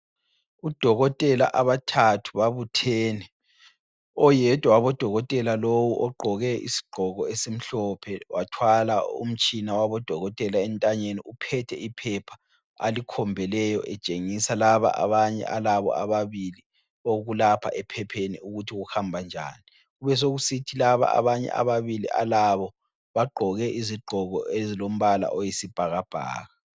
Odokotela abathathu babuthene, oyedwa wabodokotela lowo ogqoke isigqoko esimhlophe wathwala umtshina wabodokotela entanyeni uphethe iphepha, alikhombeleyo etshengisa laba abanye alabo ababili okulapha ephepheni ukuthi kuhambanjani. Kubesokusithi laba abanye ababili alabo bagqoke izigqoko ezilombala oyisibhakabhaka.